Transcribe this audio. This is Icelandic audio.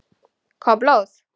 Kom blóð?